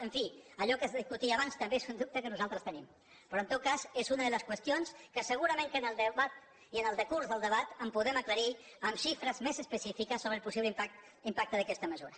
en fi allò que es discutia abans també és un dubte que nosaltres tenim però en tot cas és una de les qüestions que segurament que en el debat i en el decurs del debat podrem aclarir amb xifres més específiques sobre el possible impacte d’aquesta mesura